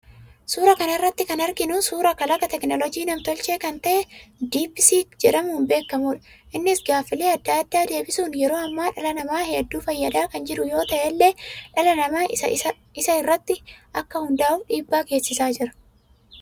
Suuraa kana irratti kan arginu suuraa kalaqa teknooloojii nam-tolchee kan ta'e 'deepseek' jedhamuun beekamudha. Innis gaafiilee adda addaa deebisuun yeroo ammaa dhala namaa hedduu fayyadaa kan jiru yoo ta'ellee, dhala namaa isa irratti akka hundaafuu dhiibbaa geessisaa jira.